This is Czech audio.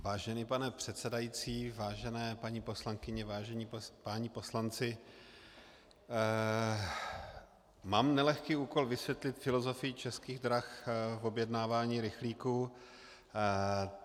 Vážený pane předsedající, vážené paní poslankyně, vážení páni poslanci, mám nelehký úkol, vysvětlit filozofii Českých drah v objednávání rychlíků.